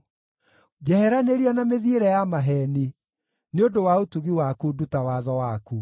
Njeheranĩria na mĩthiĩre ya maheeni; nĩ ũndũ wa ũtugi waku nduta watho waku.